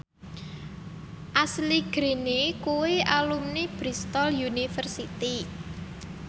Ashley Greene kuwi alumni Bristol university